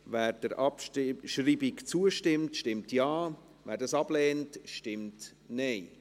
Wer der Abschreibung zustimmt, stimmt Ja, wer dies ablehnt, stimmt Nein.